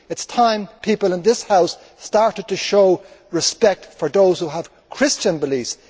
It is time people in this House started to show respect for those who have Christian beliefs